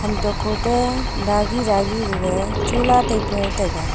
lamtok khoto dagi dagi gag chola taipa taiga.